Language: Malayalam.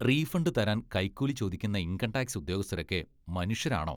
റീഫണ്ട് തരാൻ കൈക്കൂലി ചോദിക്കുന്ന ഇൻകം ടാക്സ് ഉദ്യോഗസ്ഥരൊക്കെ മനുഷ്യരാണോ?